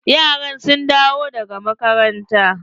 Yaran sun dawo daga makaranta?